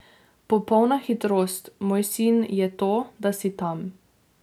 Popolna hitrost, moj sin, je to, da si tam.